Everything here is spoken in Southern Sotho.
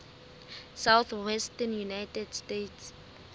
southwestern united states